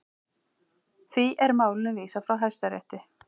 Því er málinu vísað frá Hæstarétti